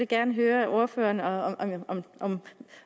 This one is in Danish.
gerne høre ordføreren